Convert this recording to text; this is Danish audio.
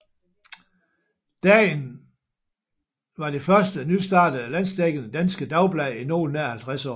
Dagen var det første nystartede landsdækkende danske dagblad i noget nær 50 år